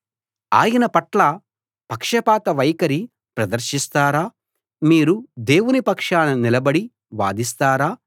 ఆయన పట్ల పక్షపాత వైఖరి ప్రదర్శిస్తారా మీరు దేవుని పక్షాన నిలబడి వాదిస్తారా